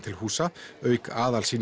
til húsa auk